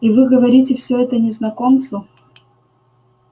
и вы говорите всё это незнакомцу